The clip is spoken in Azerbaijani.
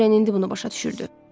Doren indi bunu başa düşürdü.